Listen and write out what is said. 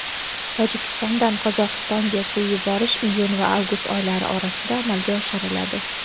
Tojikistondan Qozog‘istonga suv yuborish iyun va avgust oylari orasida amalga oshiriladi.